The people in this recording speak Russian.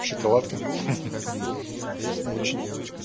шоколадка хи-хи очень